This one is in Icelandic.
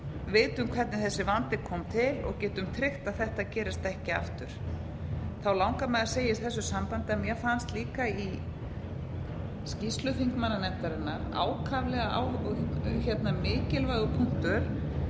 vitum hvernig þessi vandi kom til og getum tryggt að þetta gerist ekki aftur þá langar mig að segja í þessu sambandi að mér fannst líka í skýrslu þingmannanefndarinnar ákaflega mikilvægur punktur